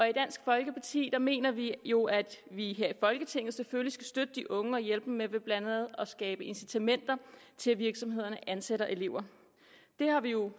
i dansk folkeparti mener vi jo at vi her i folketinget selvfølgelig skal støtte de unge og hjælpe dem ved blandt andet at skabe incitamenter til at virksomhederne ansætter elever det har vi jo